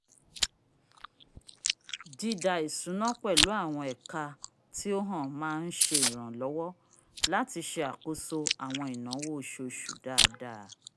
dídá isuna pẹlu awọn ẹka tio hàn má nsẹ iranlọwọ lati ṣe àkóso awọn inawo oṣooṣu dáadáa